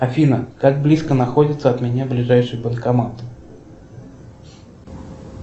афина как близко находится от меня ближайший банкомат